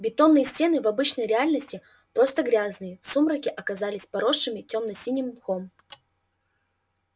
бетонные стены в обычной реальности просто грязные в сумраке оказались поросшими тёмно-синим мхом